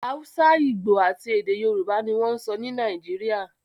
Hausa, Igbo, àti èdè Yorùbá ni wọ́n ń sọ ní Nàìjíríà